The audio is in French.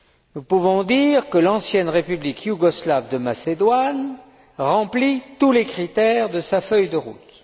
nous pouvons dire que l'ancienne République yougoslave de Macédoine remplit tous les critères de sa feuille de route.